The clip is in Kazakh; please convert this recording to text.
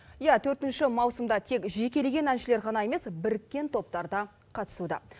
иә төртінші маусымда тек жекелеген әншілер ғана емес біріккен топтар да қатысуда